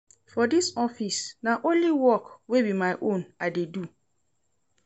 For dis office, na only work wey be my own I dey do.